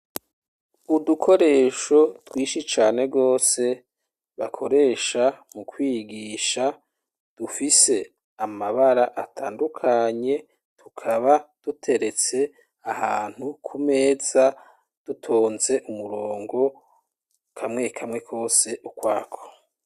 Udukoresho twishi cane rwose bakoresha mu kwigisha dufise amabara atandukanye tukaba duteretse ahantu ku meza dutonze umurongo kamwe kamwe kose ukwako